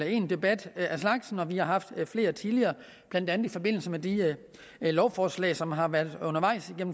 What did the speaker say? en debat af slagsen og vi har haft flere tidligere blandt andet i forbindelse med de lovforslag som har været undervejs